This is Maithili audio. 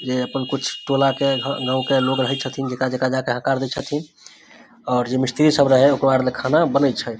जे अपन कुछ टोला के घर गांव के लोग रही छथीन जेका जेका-जेका जा के हकार दे छथीन और जो मिस्त्री सब रहे ओकरो आर ले खाना बनय छै ।